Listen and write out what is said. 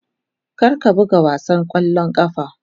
Kar ka buga wasan ƙwallon ƙafa.